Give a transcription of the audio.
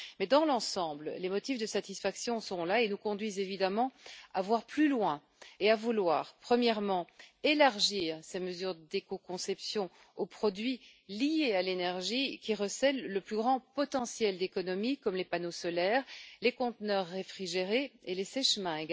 Mais dans l'ensemble, les motifs de satisfaction sont là et nous conduisent, évidemment, à voir plus loin et à vouloir, premièrement, élargir les mesures d'écoconception aux produits liés à l'énergie, qui recèlent le plus grand potentiel d'économie, comme les panneaux solaires, les conteneurs réfrigérés et les sèche mains.